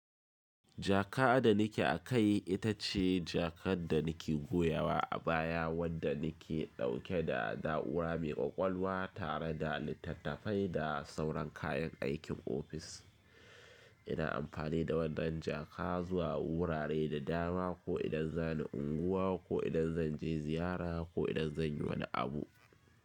Jaka da nike a kai ita ce jakar da nake goyawa a baya wadda nake dauke da na’ura mai kwakwalwa tare da littattafai da sauran kayan aikin ofis. Ina amfani da wannan jaka zuwa wurare da dama, ko idan za ni unguwa ko idan zan je ziyara ko idan zan yi wani abu.